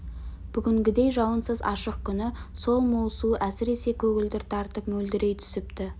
бүгінгідей жауынсыз ашық күні сол мол су әсіресе көгілдір тартып мөлдірей түсіпті